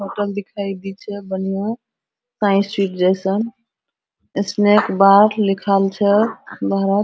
hotel दिखाई दे छै बढ़िया जेसन इसमे एक बात लिखल छै